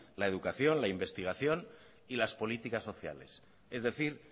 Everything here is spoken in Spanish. la educación la investigación y las políticas sociales es decir